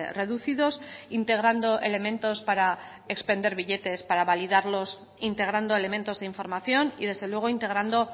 reducidos integrando elementos para expender billetes para validarlos integrando elementos de información y desde luego integrando